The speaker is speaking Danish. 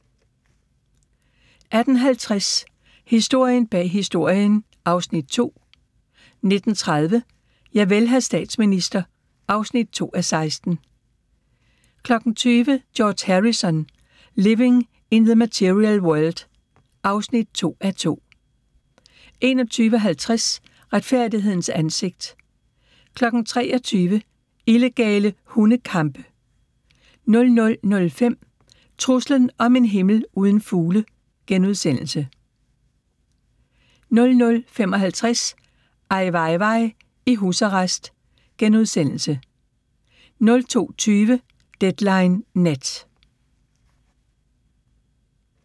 18:50: Historien bag Historien (Afs. 2) 19:30: Javel, hr. statsminister (2:16) 20:00: George Harrison – Living in the Material World (2:2) 21:50: Retfærdighedens ansigt 23:00: Illegale hundekampe 00:05: Truslen om en himmel uden fugle * 00:55: Ai Weiwei i husarrest * 02:20: Deadline Nat